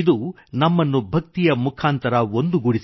ಇದು ನಮ್ಮನ್ನು ಭಕ್ತಿಯ ಮುಖಾಂತರ ಒಂದುಗೂಡಿಸಿತು